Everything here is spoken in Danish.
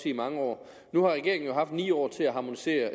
i mange år nu har regeringen jo haft ni år til at harmonisere